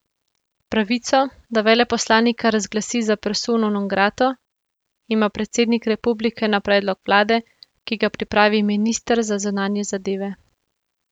Pravico, da veleposlanika razglasi za persono non grato, ima predsednik republike na predlog vlade, ki ga pripravi minister za zunanje zadeve.